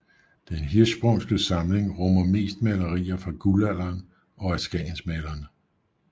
Den Hirschsprungske samling rummer mest malerier fra Guldalderen og af skagensmalerne